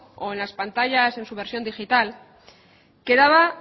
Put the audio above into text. o en las pantallas en su versión digital quedaba